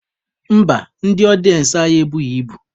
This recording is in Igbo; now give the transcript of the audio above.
Mba, ndị ọdịensị anyị ebughi ibu.